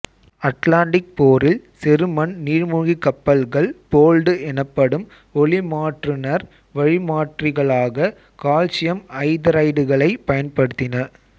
Atlantic போரில் செருமன் நீர்மூழ்கிக் கப்பல்கள் போல்டு எனப்படும் ஒலிமாற்றுணர் வழிமாற்றிகளாக கால்சியம் ஐதரைடுகளை பயன்படுத்தின